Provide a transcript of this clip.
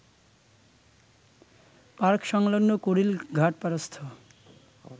park সংলগ্ন কুড়িল ঘাটপাড়স্থ